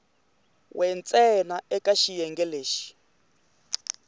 we ntsena eka xiyenge lexi